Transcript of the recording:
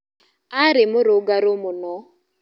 Arĩ mũrũngarũ mũno.